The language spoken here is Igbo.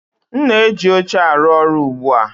M na-eji oche arụ ọrụ ugbu a